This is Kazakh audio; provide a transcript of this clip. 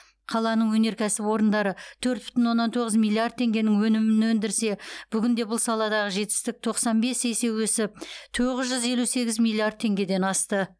қаланың өнеркәсіп орындары төрт бүтін оннан тоғыз миллиард теңгенің өнімін өндірсе бүгінде бұл саладағы жетістік тоқсан бес есе өсіп төрт жүз елу сегіз миллиард теңгеден асты